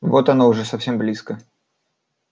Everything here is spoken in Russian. вот оно уже совсем близко